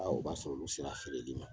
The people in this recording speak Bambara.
A u b'a sɔrɔ olu sera feereli ma.